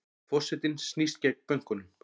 Forsetinn snýst gegn bönkunum